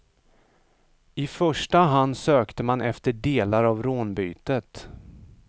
I första hand sökte man efter delar av rånbytet.